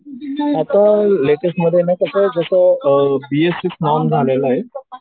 आता लेटेस्ट मध्ये ना जसं अ बी एस सिक्स म्हणून झालेलं आहे.